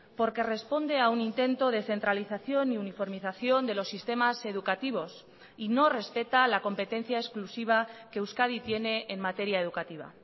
porque responde a un intento de centralización y uniformización de los sistemas educativos y no respeta la competencia exclusiva que euskadi tiene en materia educativa